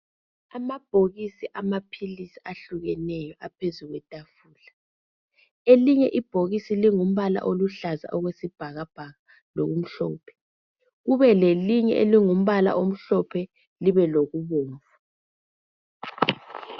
Amabhokisi amaphilisi ahlukeneyo aphezu kwetafula elinye ibhokisi lilumbala oluhlaza okwesibhakabhaka lokumhlophe kube lelinye elungumbala omhlophe libe lokubomvu.